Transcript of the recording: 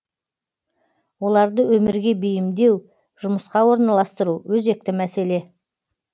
оларды өмірге бейімдеу жұмысқа орналастыру өзекті мәселе